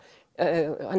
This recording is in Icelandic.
hann